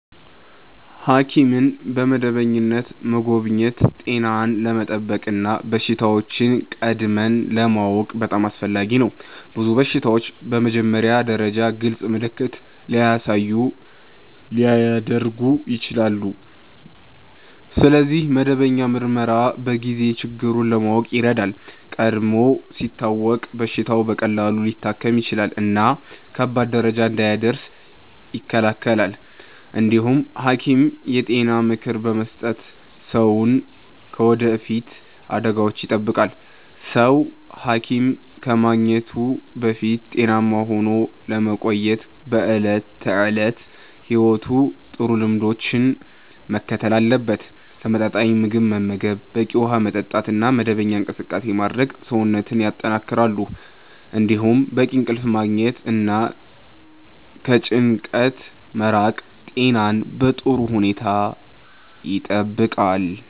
ሐኪምን በመደበኛነት መጎብኘት ጤናን ለመጠበቅ እና በሽታዎችን ቀድሞ ለማወቅ በጣም አስፈላጊ ነው። ብዙ በሽታዎች በመጀመሪያ ደረጃ ግልጽ ምልክት ሳያሳዩ ሊያድጉ ይችላሉ፣ ስለዚህ መደበኛ ምርመራ በጊዜ ችግሩን ለማወቅ ይረዳል። ቀድሞ ሲታወቅ በሽታው በቀላሉ ሊታከም ይችላል እና ከባድ ደረጃ እንዳይደርስ ይከላከላል። እንዲሁም ሐኪም የጤና ምክር በመስጠት ሰውን ከወደፊት አደጋዎች ይጠብቃል። ሰው ሐኪም ከማግኘቱ በፊት ጤናማ ሆኖ ለመቆየት በዕለት ተዕለት ሕይወቱ ጥሩ ልምዶችን መከተል አለበት። ተመጣጣኝ ምግብ መመገብ፣ በቂ ውሃ መጠጣት እና መደበኛ እንቅስቃሴ ማድረግ ሰውነትን ያጠናክራሉ። እንዲሁም በቂ እንቅልፍ ማግኘት እና ከጭንቀት መራቅ ጤናን በጥሩ ሁኔታ ይጠብቃል።